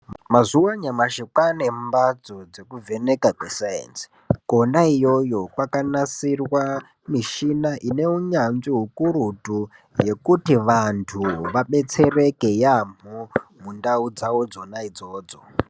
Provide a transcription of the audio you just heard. Mazuva anyamashi kwane mbatso dzekuvheneka kwesaenzi. Kona iyoyo kwakanasirwa michina ineunyanzvi hukurutu. Yekuti vantu vabetsereke yaamho mundau dzavo dzona idzodzo.